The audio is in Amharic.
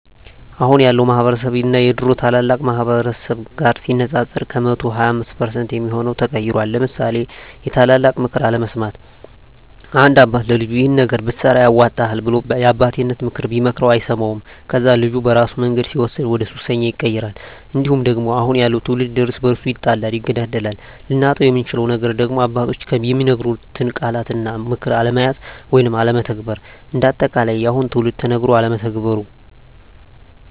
አሁን ያለው ማህበረስብ እና የድሮ ታላላቅ ማህበረሰብ ጋር ሲነፃፀር ከ100% 25% የሚሆው ተቀይሯል ለምሳሌ የታላላቅ ምክር አለመስማት፦ አንድ አባት ለልጁ ይሄን ነገር ብትሰራ ያዋጣሀል ብሎ የአባቴነተን ምክር ቢመክረው አይሰማውም ከዛ ልጁ በራሱ መንገድ ሲወስን ወደሱሰኛ ይቀየራል። እንዲሁም ደግሞ አሁን ያለው ትውልድ እርስ በርሱ ይጣላል ይገዳደላል። ልናጣው የምንችለው ነገር ደግሞ አባቶች የሚናገሩትን ቃላት እና ምክር አለመያዝ ወይም አለመተግበር። እንደ አጠቃላይ የአሁኑ ትውልድ ተነገሮ አለመተግበሩ